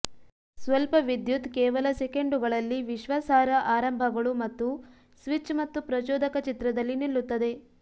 ಸ್ವಲ್ಪ ವಿದ್ಯುತ್ ಕೇವಲ ಸೆಕೆಂಡುಗಳಲ್ಲಿ ವಿಶ್ವಾಸಾರ್ಹ ಆರಂಭಗಳು ಮತ್ತು ಸ್ವಿಚ್ ಮತ್ತು ಪ್ರಚೋದಕ ಚಿತ್ರದಲ್ಲಿ ನಿಲ್ಲುತ್ತದೆ